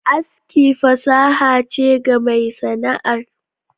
Aski fasaha che ga mai Sana'ar.